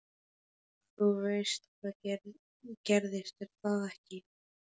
Þú veist hvað gerðist, er það ekki?